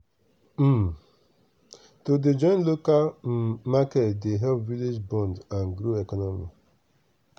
um to dey join local um market dey help village bond and grow economy.